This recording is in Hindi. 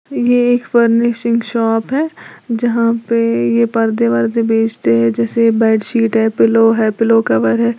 ये एक फर्निशिंग शॉप है जहां पे ये परदे वरदे बेचते हैं जैसे बेडशीट है पिलो है पिलो कवर है।